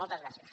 moltes gràcies